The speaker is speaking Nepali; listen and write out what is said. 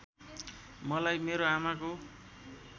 मलाई मेरो आमाको